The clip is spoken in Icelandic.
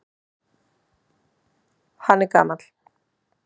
Hann er gamall.